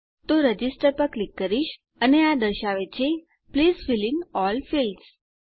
તો રજિસ્ટર પર ક્લિક કરીશ અને આ દર્શાવે છે please fill in all fields